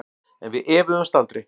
En við efuðumst aldrei.